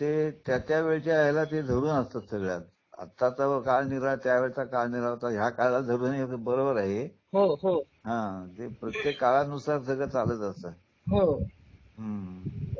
त्यामुळे त्यावेळच्या काळाला ते धरून आताच काळ निराळा आहे त्या वेळेचा काळ निराळा होता बरोबर आहे हो हो हां प्रत्येका काळानुसार नुसार चालू असतं हो हम्म